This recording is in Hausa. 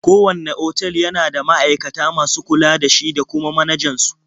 Kowanne otal yana da ma'aikata masu kula da shi da kuma manajan su.